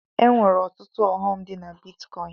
E nwere ọtụtụ ọghọm dị na bitkọin.